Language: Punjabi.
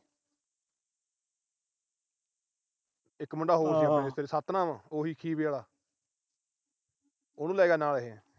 ਇਕ ਮੁੰਡਾ ਹੋਰ ਸੀ ਸਤਿਨਾਮ ਉਹੀ ਖੀਵੇਂ ਆਲਾ ਉਹਨੂੰ ਲੈ ਗਿਆ ਨਾਲ ਇਹ।